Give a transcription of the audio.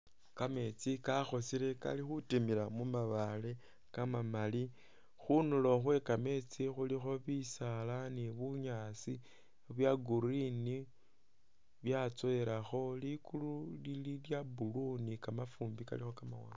Kameetsi kakhosile kali khutimila mu mabaale kamamaali. Khunduulo khwe kameetsi khulikho bisaala ni bunyaasi bya green byatsowelakho. Likuulu lili lya blue ni kamafuumbi kalikho kamawaanga.